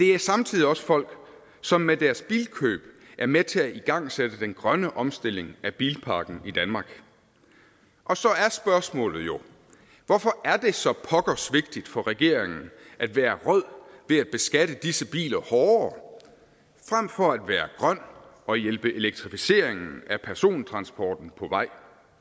det er samtidig også folk som med deres bilkøb er med til at igangsætte den grønne omstilling af bilparken i danmark og så er spørgsmålet jo hvorfor er det så pokkers vigtigt for regeringen at være rød ved at beskatte disse biler hårdere frem for at være grøn og hjælpe elektrificeringen af persontransporten på vej